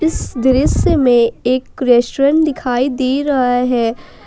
इस दृश्य में एक रेस्टोरेंट दिखाई दे रहा है।